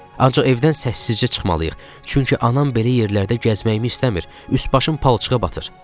Ancaq evdən səssizcə çıxmalıyıq, çünki anam belə yerlərdə gəzməyimi istəmir, üst-başım palçığa batır.